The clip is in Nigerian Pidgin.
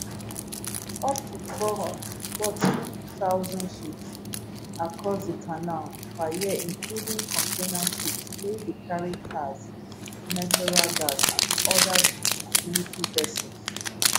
up to 14000 ships cross di canal per year including container ships wey dey carry cars natural gas and oda goods and military vessels